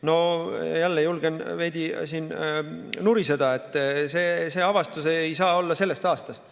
No jälle julgen veidi nuriseda, sest see avastus ei saa olla sellest aastast.